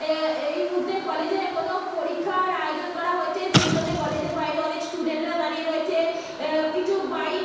আহ এই মুহূর্তে কলেজের কোনো পরীক্ষার আয়োজন করা হয়েছে। সেইজন্য কলেজের বাইরে অনেক স্টুডেন্ট রা দাঁড়িয়ে রয়েছে। আহ কিছু বাইক --